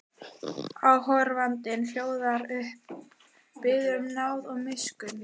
Áhorfandinn hljóðar upp, biður um náð og miskunn.